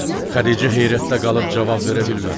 Xədicə heyrətdə qalıb cavab verə bilmədi.